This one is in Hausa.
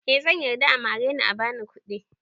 Eh zan yarda a mare ni a bani kuɗi